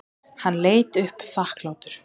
Hann leit upp þakklátur.